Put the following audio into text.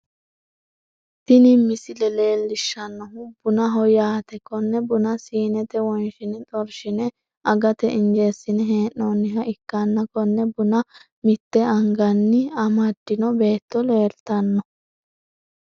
Tini misile leellishshannohu bunaho yaate konne buna siinete wonshine xorshine agate injeesine hee'nooniha ikkanna konne buna mitte anganni amaddino beetto leeltanno.